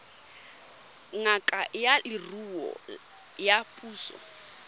ngaka ya leruo ya puso